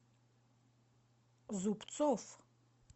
зубцов